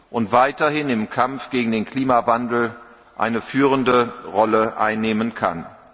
und weiterhin im Kampf gegen den Klimawandel eine führende Rolle einnehmen kann.